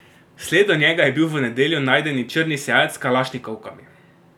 Sled do njega je bil v nedeljo najdeni črni seat s kalašnikovkami.